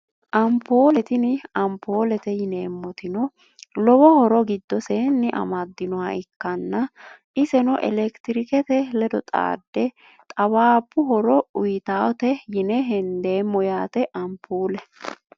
Anpuule tini anpuulete yineemotino lowo horo gidoseeni amadinoha ikanna iseno elektirikete ledo xaade xawaabu horo uuyitawote yine hendeemo yaate anpuule.